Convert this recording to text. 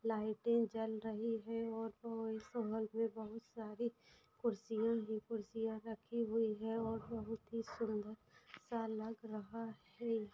लाइटे जल रही है और बहुत सारी कुर्सिया ही कुर्सिया रखी हुई है और बहुत ही सुंदर सा लग रहा है।